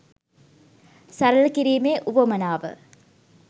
සරල කිරීමේ උවමනාව